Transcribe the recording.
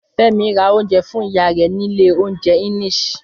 Fẹ́mi ra oúnjẹ fún ìyá rẹ̀ nílé oúnjẹ Enish